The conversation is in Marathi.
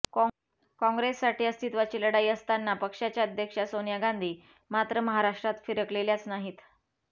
काँग्रेससाठी अस्तित्त्वाची लढाई असताना पक्षाच्या अध्यक्षा सोनिया गांधी मात्र महाराष्ट्रात फिरकलेल्याच नाहीत